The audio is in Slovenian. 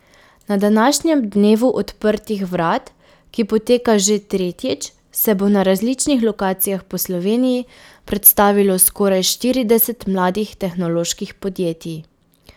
Na današnjem dnevu odprtih vrat, ki poteka že tretjič, se bo na različnih lokacijah po Sloveniji predstavilo skoraj štirideset mladih tehnoloških podjetij.